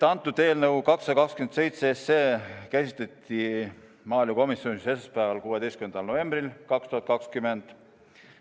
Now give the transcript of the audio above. Antud eelnõu, 227, käsitleti maaelukomisjonis esmaspäeval, 16. novembril 2020.